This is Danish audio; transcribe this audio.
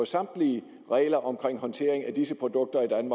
samtlige regler om håndtering af disse produkter i